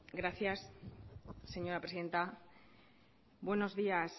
gracias señora presidenta buenos días